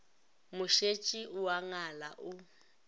mošetši o a ngala o